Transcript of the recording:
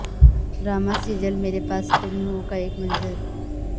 drama serial Mere Paas Tum Ho کا ایک منظر